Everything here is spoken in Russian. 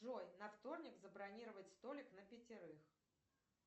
джой на вторник забронировать столик на пятерых